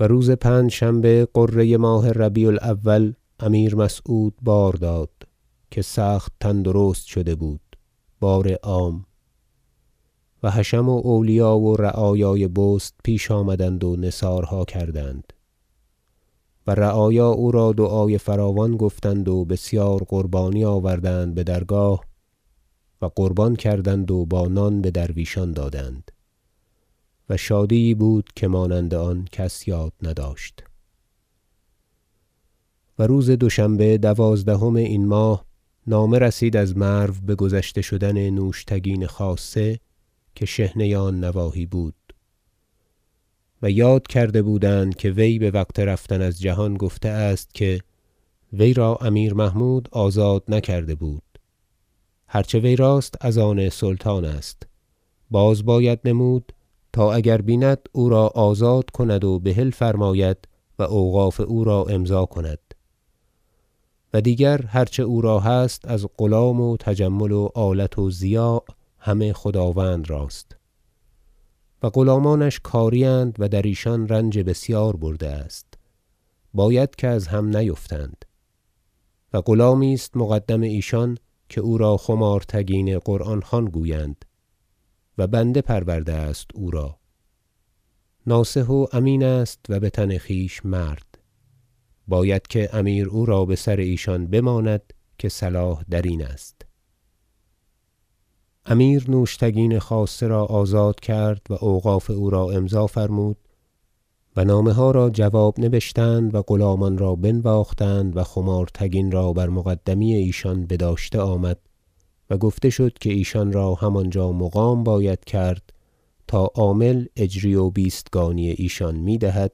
و روز پنجشنبه غره ماه ربیع الأول امیر مسعود بار داد که سخت تندرست شده بود بار عام و حشم و اولیا و رعایای بست پیش آمدند و نثارها کردند و رعایا او را دعای فراوان گفتند و بسیار قربانی آوردند به درگاه و قربان کردند و با نان به درویشان دادند و شادی یی بود که مانند آن کس یاد نداشت و روز دوشنبه دوازدهم این ماه نامه رسید از مرو به گذشته شدن نوشتگین خاصه که شحنه آن نواحی بود و یاد کرده بودند که وی به وقت رفتن از جهان گفته است که وی را امیر محمود آزاد نکرده بود هر چه وی راست از آن سلطان است باز باید نمود تا اگر بیند او را آزاد کند و بحل فرماید و اوقاف او را امضا کند و دیگر هر چه او را هست از غلام و تجمل و آلت و ضیاع همه خداوند راست و غلامانش کاری اند و در ایشان رنج بسیار برده است باید که از هم نیفتند و غلامی است مقدم ایشان که او را خمارتگین قرآن خوان گویند و بنده پرورده است او را ناصح و امین است و به تن خویش مرد باید که امیر او را به سر ایشان بماند که صلاح در این است امیر نوشتگین خاصه را آزاد کرد و اوقاف او را امضا فرمود و نامه ها را جواب نبشتند و غلامان را بنواختند و خمارتگین را بر مقدمی ایشان بداشته آمد و گفته شد که ایشان را همانجا مقام باید کرد تا عامل اجری و بیستگانی ایشان می دهد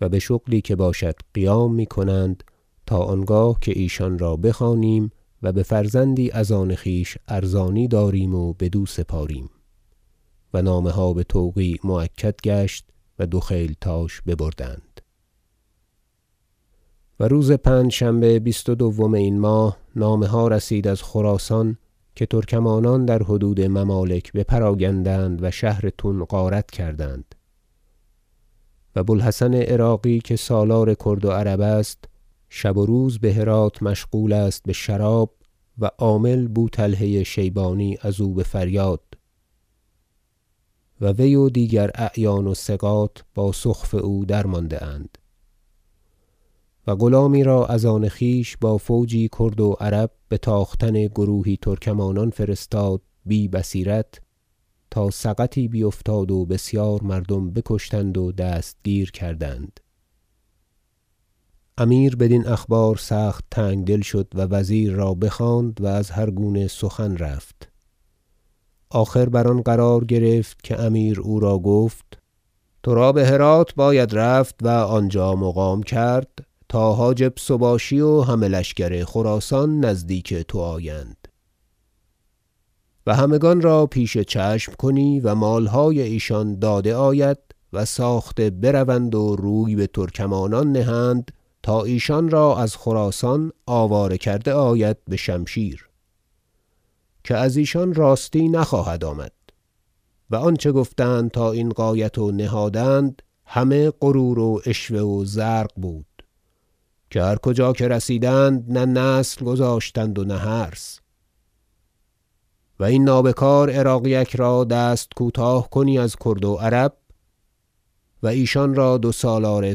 و به شغلی که باشد قیام می کنند تا آنگاه که ایشان را بخوانیم و به فرزندی از آن خویش ارزانی داریم و بدو سپاریم و نامه ها به توقیع مؤکد گشت و دو خیلتاش ببردند و روز پنجشنبه بیست و دوم این ماه نامه ها رسید از خراسان که ترکمانان در حدود ممالک بپراگندند و شهر تون غارت کردند و بوالحسن عراقی که سالار کرد و عرب است شب و روز به هرات مشغول است به شراب و عامل بوطلحه شیبانی از وی به فریاد و وی و دیگر اعیان و ثقات با سخف او درمانده اند و غلامی را از آن خویش با فوجی کرد و عرب به تاختن گروهی ترکمانان فرستاد بی بصیرت تا سقطی بیفتاد و بسیار مردم بکشتند و دستگیر کردند امیر بدین اخبار سخت تنگدل شد و وزیر را بخواند و از هرگونه سخن رفت آخر بر آن قرار گرفت که امیر او را گفت ترا به هرات باید رفت و آنجا مقام کرد تا حاجب سباشی و همه لشکر خراسان نزدیک تو آیند و همگان را پیش چشم کنی و مالهای ایشان داده آید و ساخته بروند و روی به ترکمانان نهند تا ایشان را از خراسان آواره کرده آید به شمشیر که از ایشان راستی نخواهد آمد و آنچه گفتند تا این غایت و نهادند همه غرور و عشوه و زرق بود که هر کجا که رسیدند نه نسل گذاشتند و نه حرث و این نابکار عراقیک را دست کوتاه کنی از کرد و عرب و ایشان را دو سالار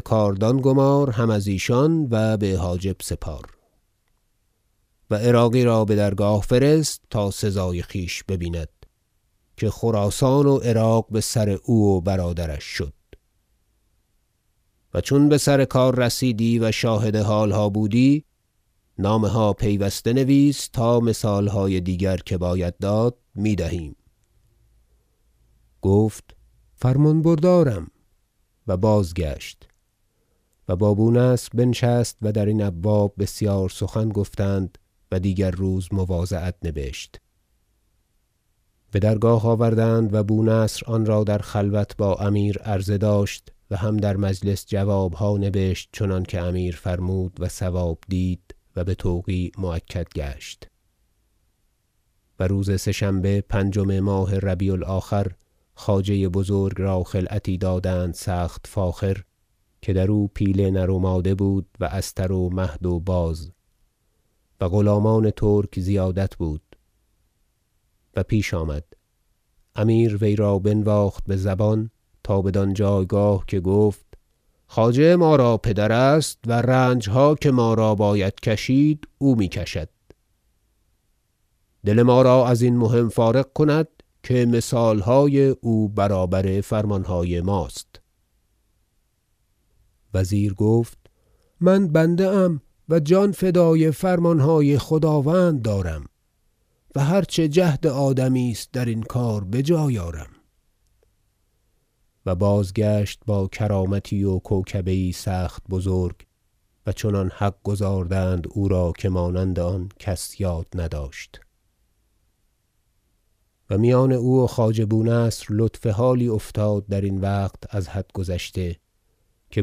کاردان گمار هم از ایشان و به حاجب سپار و عراقی را به درگاه فرست تا سزای خویش ببیند که خراسان و عراق بسر او و برادرش شد و چون بسر کار رسیدی و شاهد حالها بودی نامه ها پیوسته نویس تا مثالهای دیگر که باید داد می دهیم گفت فرمان بردارم و بازگشت و با بونصر بنشست و درین ابواب بسیار سخن گفتند و دیگر روز مواضعت نبشت به درگاه آوردند و بونصر آنرا در خلوت با امیر عرضه داشت و هم در مجلس جوابها نبشت چنانکه امیر فرمود و صواب دید و به توقیع مؤکد گشت و روز سه شنبه پنجم ماه ربیع الآخر خواجه بزرگ را خلعتی دادند سخت فاخر که درو پیل نر و ماده بود و استر و مهد و باز و غلامان ترک زیادت بود و پیش آمد امیر وی را بنواخت به زبان تا بدان جایگاه که گفت خواجه ما را پدر است و رنجها که ما را باید کشید او می کشد دل ما را ازین مهم فارغ کند که مثالهای او برابر فرمانهای ماست وزیر گفت من بنده ام و جان فدای فرمانهای خداوند دارم و هر چه جهد آدمی است درین کار بجای آرم و بازگشت با کرامتی و کوکبه یی سخت بزرگ و چنان حق گزاردند او را که مانند آن کس یاد نداشت و میان او و خواجه بونصر لطف حالی افتاد درین وقت از حد گذشته که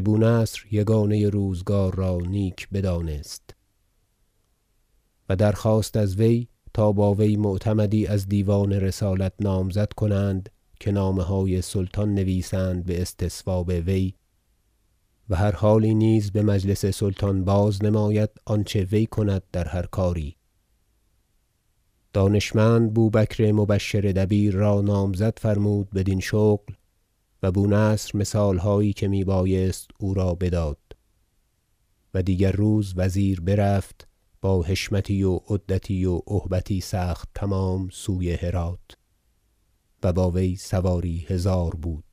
بونصر یگانه روزگار را نیک بدانست و درخواست از وی تا با وی معتمدی از دیوان رسالت نامزد کنند که نامه های سلطان نویسند به استصواب وی و هر حالی نیز به مجلس سلطان بازنماید آنچه وی کند در هر کاری دانشمند بوبکر مبشر دبیر را نامزد فرمود بدین شغل و بونصر مثالهایی که می بایست او را بداد و دیگر روز وزیر برفت با حشمتی و عدتی و ابهتی سخت تمام سوی هرات و با وی سواری هزار بود